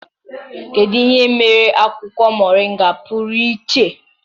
Kedu ihe mere akwụkwọ Mọrịnga pụrụ iche?